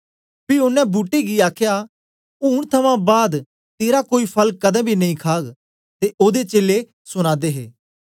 पी ओनें बूट्टे गी आखया ऊन थमां बाद तेरा कोई फल कदें बी नेई खाग ते ओदे चेलें सुना दे हे